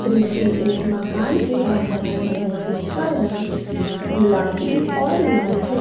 दृश्य एक मकान के बाहर का है जिसका रंग गुलाबी और लाल है।